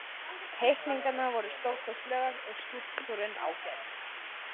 Teikningarnar voru stórkostlegar og skúlptúrinn ágætur.